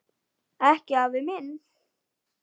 Ekki afi minn.